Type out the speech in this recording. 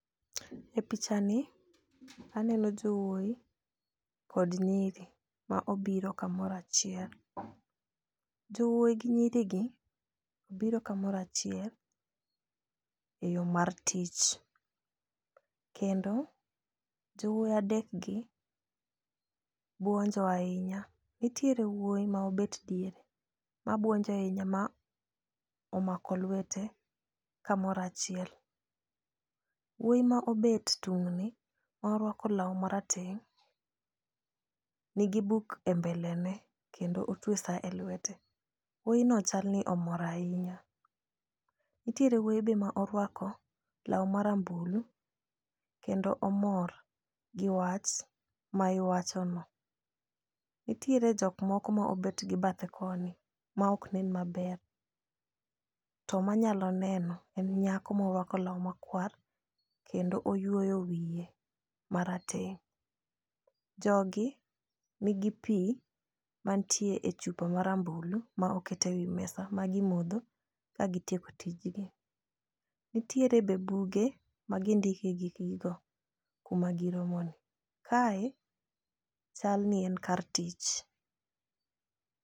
E pichani aneno jowuoi kod nyiri ma obiro kamoro achiel. Jowuoi gi nyirigi biro kamoro achiel e yoo mar tich kendo jowuoi adekgi buonjo ainya. Nitiere wuoi ma obet diere mabuonjo ainya ma omako luete kamoro achiel. Wuoi ma obet tung'ni ma orwako lau marateng' nigi buk e mbele ne kendo otue saa e luete. Wuoino chalni omor ainya. Nitiere wuoi be maorwako lau marambulu kendo omor gi wach ma iwachono. Nitiere jok moko ma obetgi bathe koni ma oknen maber to manyalo neno en nyako moruako lau makwar kendo oyuoyo wiye marateng'. Jogi nigi pii mantie e chupa marambulu ma oketewii mesa ma gimodho kagitieko tijgi. Nitiere be buge ma gindike gikgigo kumagiromono kae chalni en kar tich.